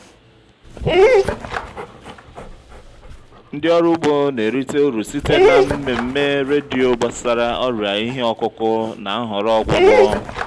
ndị ọrụ ugbo na-erite uru site na mmemme redio gbasara ọrịa ihe ọkụkụ na nhọrọ ọgwụgwọ.